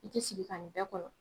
I tɛ sigi ka nin bɛɛ kɔnɔ.